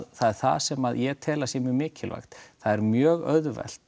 það er það sem ég tel að sé mjög mikilvægt það er mjög auðvelt